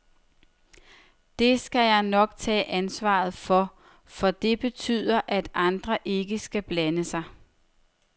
Det skal jeg nok tage ansvaret for, for det betyder, at andre ikke skal blande sig.